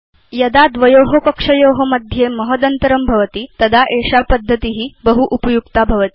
यदा द्वयो कक्षयो मध्ये महदन्तरं भवति तदा एषा पद्धति बहु उपयुक्ता भवति